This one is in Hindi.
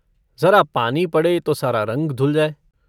ज़रा पानी पड़े तो सारा रंग धुल जाए।